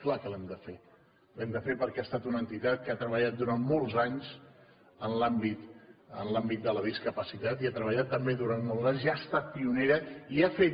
clar que l’hem de fer l’hem de fer perquè ha estat una entitat que ha treballat durant molts anys en l’àmbit de la discapacitat i ha treballat també durant molts anys i ha estat pionera i ha fet